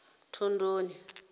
thondoni